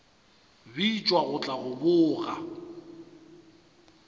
bitšwa go tla go boga